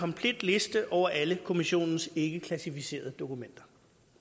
komplet liste over alle kommissionens ikkeklassificerede dokumenter